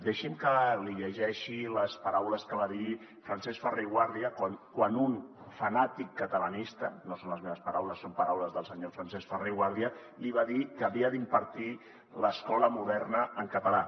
deixi’m que li llegeixi les paraules que va dir francesc ferrer i guàrdia quan un fanàtic catalanista no són les meves paraules són paraules del senyor francesc ferrer i guàrdia li va dir que havia d’impartir l’escola moderna en català